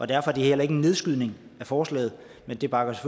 derfor er det heller ikke en nedskydning af forslaget det bakker